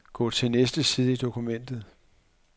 Gå til næste side i dokumentet.